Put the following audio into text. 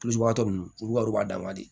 ninnu olu wariw b'a dan ma de